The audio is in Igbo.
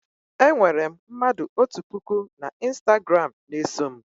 Enwere m mmadụ otu puku n'Ịstagram na-eso m